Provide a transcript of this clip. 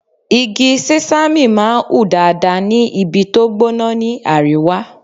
Igi Sẹ́sámì máa ń hù dáadáa ní ibi tó gbóná ni àríwá.